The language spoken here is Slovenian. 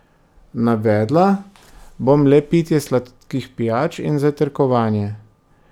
Navedla bom le pitje sladkih pijač in zajtrkovanje.